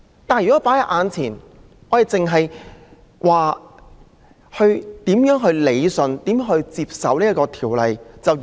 但是，我們目前卻只顧討論如何理順和接受《條例》的修訂。